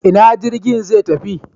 Ina jirgin zai tafi?